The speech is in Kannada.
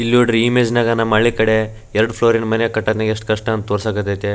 ಇಲ್ ನೋಡ್ರಿ ಇಮೇಜ್ ನಗೆ ನಮ್ಮ ಹಳ್ಳೀ ಕಡೆ ಎರಡ ಫ್ಲೋರ್ ಮನೆ ಕಟ್ಟೋಕೆ ಯೆಸ್ಟ್ ಕಷ್ಟ ಅಂತ ತೊರ್ಸಕ್ಹತೈತಿ.